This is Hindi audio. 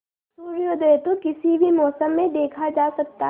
सूर्योदय तो किसी भी मौसम में देखा जा सकता है